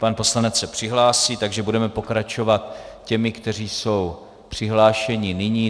Pan poslanec se přihlásí, takže budeme pokračovat těmi, kteří jsou přihlášeni nyní.